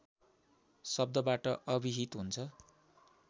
शब्दबाट अभिहित हुन्छ